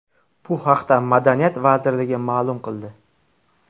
Bu haqda Madaniyat vazirligi ma’lum qildi .